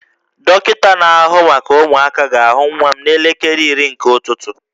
Dọkịta na-ahụ maka ụmụaka ga-ahụ nwa n'elekere iri nke ụtụtụ